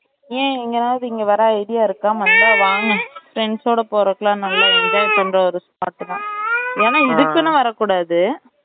ஏன் இங்கனா எதாவது வர்ற idea இருக்கா வந்த வாங்க friends ஓட போறதுக்கு லாம் நல்லா enjoy பண்ற spot தான் ஏன்னா இதுக்குன்னு வர கூடாது